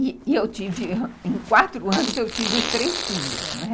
E eu tive, em quatro anos, eu tive os três filhos, né?